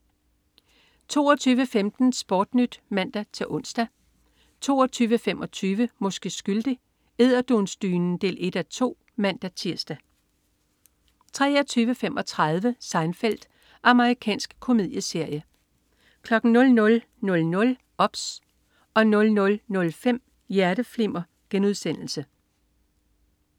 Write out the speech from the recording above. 22.15 SportNyt (man-ons) 22.25 Måske skyldig. Edderdunsdynen 1:2 (man-tirs) 23.35 Seinfeld. Amerikansk komedieserie 00.00 OBS 00.05 Hjerteflimmer*